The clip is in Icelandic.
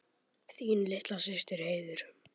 Þín litla systir, Heiður.